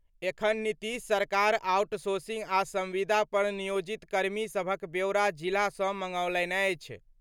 एखन नीतीश सरकार आउटसोसिंग आ संविदा पर नियोजित कर्मी सभक ब्योरा जिला सं मंगौलनि अछि।